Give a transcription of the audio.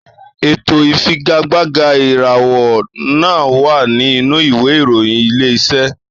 Ètò ìfigagbága ìrànwọ́ náà wà nínú ìwé ìròyìn Ilé-iṣẹ́